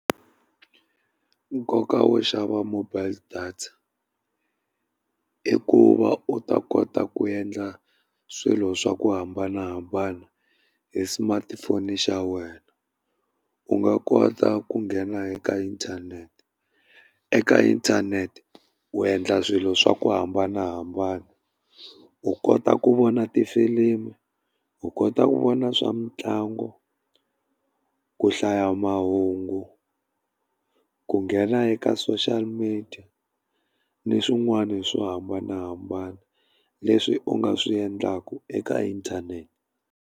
Nkoka wo xava mobile data i ku va u ta kota ku endla swilo swa ku hambanahambana hi smartphone xa wena, u nga kota ku nghena eka inthanete. Eka inthanete u endla swilo swa ku hambanahambana u kota ku vona tifilimi, u kota ku vona swa mitlangu, ku hlaya mahungu, ku nghena eka social media ni swin'wana swo hambanahambana leswi u nga swi endlaku eka inthanete.